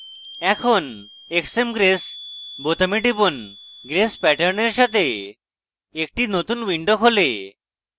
এখন xmgrace বোতামে টিপুন grace প্যাটার্নের সাথে একটি নতুন window খোলে